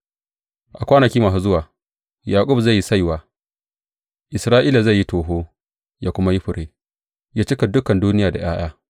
A kwanaki masu zuwa Yaƙub zai yi saiwa, Isra’ila zai yi toho ya kuma yi fure ya cika dukan duniya da ’ya’ya.